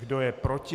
Kdo je proti?